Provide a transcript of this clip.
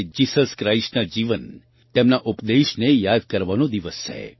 તે જીસસ ક્રાઇસ્ટના જીવન તેમના ઉપદેશને યાદ કરવાનો દિવસ છે